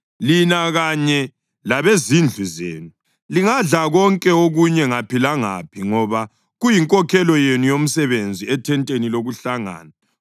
Lina kanye labezindlu zenu lingadla konke okunye ngaphi langaphi, ngoba kuyinkokhelo yenu yomsebenzi ethenteni lokuhlangana.